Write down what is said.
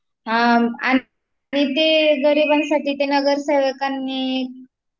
हा, आणि ते गरिबांसाठी ते नगर सेवकांनी